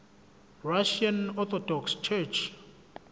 russian orthodox church